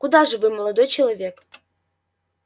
куда же вы молодой человек